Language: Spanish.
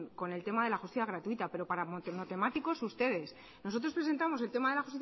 con el tema de la justicia gratuita pero para monotemáticos ustedes nosotros presentamos el tema de la